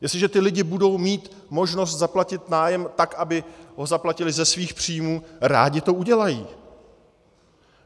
Jestliže ti lidé budou mít možnost zaplatit nájem tak, aby ho zaplatili ze svých příjmů, rádi to udělají.